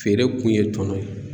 Feere kun ye tɔnɔ ye.